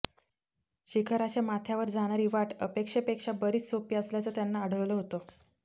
शिखराच्या माथ्यावर जाणारी वाट अपेक्षेपेक्षा बरीच सोपी असल्याचं त्यांना आढळलं होतं